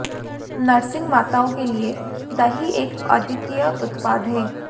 nursing माताओं के लिए दही एक अद्वितीय उत्पाद है